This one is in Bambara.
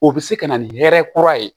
O bɛ se ka na ni hɛrɛ kura ye